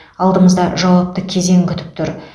алдымызда жауапты кезең күтіп тұр